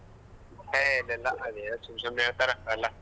A ಇಲ್ಲ ಇಲ್ಲ ಅದೇನೋ ಸುಮ್ ಸುಮ್ನೆ ಹೇಳ್ತಾರ ಅದೆಲ್ಲ.